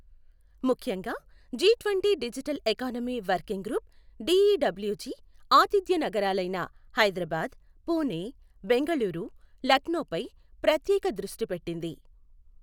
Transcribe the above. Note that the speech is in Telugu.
ముఖ్యంగా, G twenty digital economy working group DEWG ఆతిథ్య నగరాలైన హైదరాబాద్, పుణె, బెంగళూరు, లక్నోపై ప్రత్యేక దృష్టి పెట్టింది.